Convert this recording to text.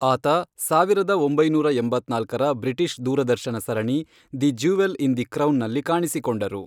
ಆತ ಸಾವಿರದ ಒಂಬೈನೂರ ಎಂಬತ್ನಾಲ್ಕರ ಬ್ರಿಟಿಷ್ ದೂರದರ್ಶನ ಸರಣಿ ದಿ ಜ್ಯುವೆಲ್ ಇನ್ ದಿ ಕ್ರೌನ್ನಲ್ಲಿ ಕಾಣಿಸಿಕೊಂಡರು.